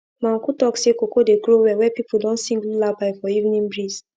my uncle talk say cocoa dey grow well where people don sing lullaby for evening breeze